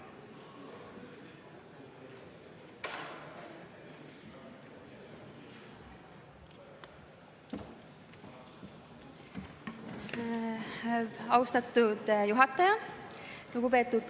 Austatud juhataja!